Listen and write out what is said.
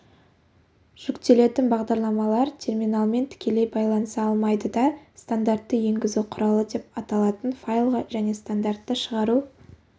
жүктелетін бағдарламалар терминалмен тікелей байланыса алмайды да стандартты енгізу құралы деп аталатын файлға және стандартты шығару